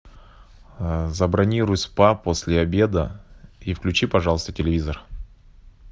забронируй спа после обеда и включи пожалуйста телевизор